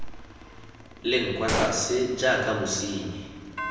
leng kwa tlase jaaka bosenyi